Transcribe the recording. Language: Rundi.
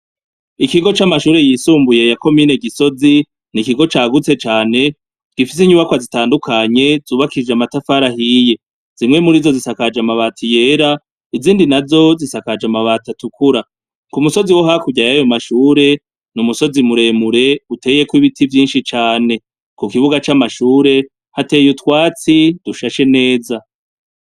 Ikigo c'amashure yisumbuye ya komine Gisozi, n'ikigo cagutse cane gifise inyubakwa zitandukanye zubakishije amatafari ahiye, zimwe mur'izo zubakishije amabati yera izindi nazo zisakaje amabati atukura, ku musozi wo hakurya yayo mashure n'umusozi muremure uteyeko ibiti vyinshi cane, ku kibuga c'amashure hateye utwatsi dushashe neza.